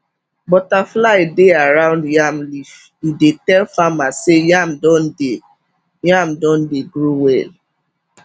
butterfly dey around yam leaf e dey tell farmer say yam don dey yam don dey grow well